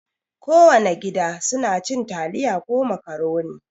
Kowana gida suna cin taliya ko makaroni.